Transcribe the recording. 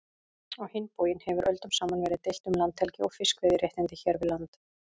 Á hinn bóginn hefur öldum saman verið deilt um landhelgi og fiskveiðiréttindi hér við land.